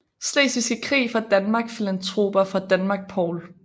Slesvigske Krig fra Danmark Filantroper fra Danmark Paul